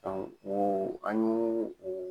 Ɔ wo an ɲo wo.